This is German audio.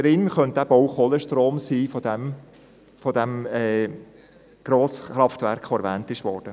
Darin könnte eben auch Kohlestrom von diesem Grosskraftwerk sein, welches erwähnt wurde.